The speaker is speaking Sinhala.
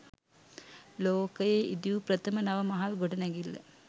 ලෝකයේ ඉදි වූ ප්‍රථම නව මහල් ගොඩනැඟිල්ල